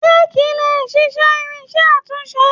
Réékí lè ṣiṣẹ́ irinṣẹ́ àtúnṣe.